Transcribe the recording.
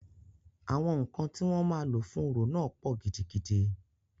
Àwọn ǹkan tí wọ́n máa lò fún orò náà pọ̀ gidigidi.